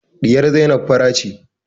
Ɗiyar Zainab fara ce